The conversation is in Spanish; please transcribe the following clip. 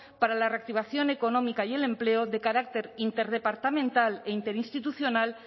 para la reactivación económica y el empleo de carácter interdepartamental e interinstitucional